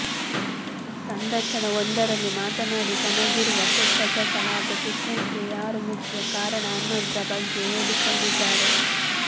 ಸಂದರ್ಶನ ವೊಂದರಲ್ಲಿ ಮಾತನಾಡಿ ತನಗಿರುವ ಕೆಟ್ಟ ಚಟ ಹಾಗೂ ಫಿಟ್ನೆಸ್ ಗೆ ಯಾರು ಮುಖ್ಯ ಕಾರಣ ಅನ್ನೋದ್ರ ಬಗ್ಗೆ ಹೇಳಿಕೊಂಡಿದ್ದಾರೆ